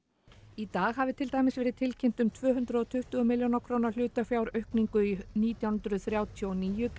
í dag hafi til dæmis verið tilkynnt um tvö hundruð og tuttugu milljóna króna hlutafjáraukningu í nítján hundruð þrjátíu og níu